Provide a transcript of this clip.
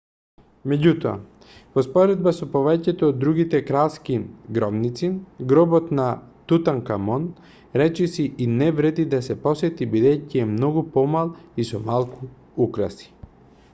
меѓутоа во споредба со повеќето од другите кралски гробници гробот на тутанкамун речиси и не вреди да се посети бидејќи е многу помал и со малку украси